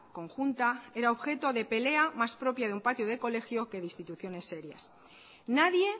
conjunta era objeto de pelea más propia de un patio de colegio que de instituciones serias nadie